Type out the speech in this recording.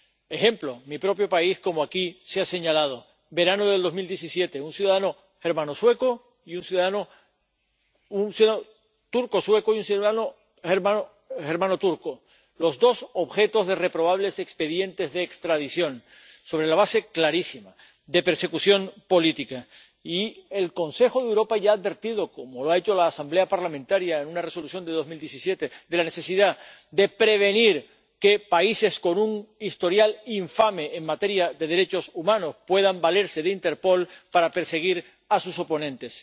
Por ejemplo, en mi propio país, como aquí se ha señalado, en el verano de 2017, un ciudadano turco sueco y un ciudadano germano turco fueron los dos objeto de reprobables expedientes de extradición, sobre la base clarísima de persecución política. Y el Consejo de Europa ya ha advertido, como lo ha hecho la Asamblea Parlamentaria en una Resolución de 2017, de la necesidad de impedir que países con un historial infame en materia de derechos humanos puedan valerse de Interpol para perseguir a sus oponentes.